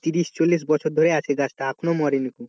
তিশির ছল্লিশ বছর ধরে আছে গাছটা এখনো মরেনিকো।